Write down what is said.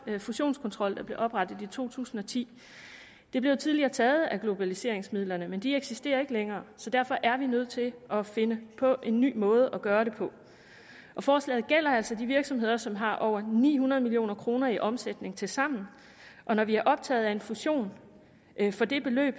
den fusionskontrol der blev oprettet i to tusind og ti det blev tidligere taget fra globaliseringsmidlerne men de eksisterer ikke længere så derfor er vi nødt til at finde på en ny måde at gøre det på forslaget gælder altså de virksomheder som har over ni hundrede million kroner i omsætning tilsammen og når vi er optaget af en fusion for det beløb